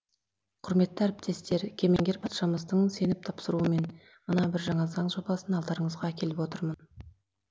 құрметті әріптестер кемеңгер патшамыздың сеніп тапсыруымен мына бір жаңа заң жобасын алдарыңызға әкеліп отырмын